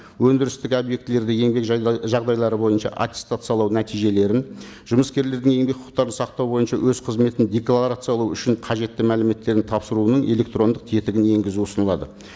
өндірістік объектілерді еңбек жағдайлары бойынша аттестациялау нәтижелерін жұмыскерлердің еңбек құқықтарын сақтау бойынша өз қызметін декларациялау үшін қажетті мәліметтерін тапсыруының электрондық тетігін енгізу ұсынылады